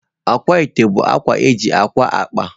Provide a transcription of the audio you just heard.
Akwaete bụ akwa eji aka akpa.